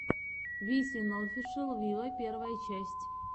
висин офишел виво первая часть